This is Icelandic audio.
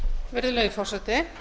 virðulegi forseti